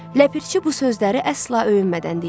Ləpirçi bu sözləri əsla öyünmədən deyirdi.